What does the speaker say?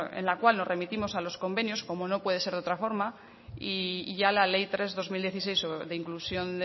en la cual nos remitimos a los convenios como no puede ser de otra forma y ya la ley tres barra dos mil dieciséis de inclusión